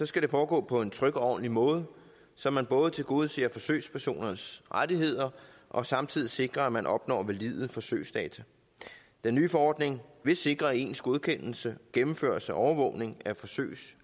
skal foregå på en tryg og ordentlig måde så man både tilgodeser forsøgspersonernes rettigheder og samtidig sikrer at man opnår valide forsøgsdata den nye forordning vil sikre ens godkendelse gennemførelse og overvågning af forsøg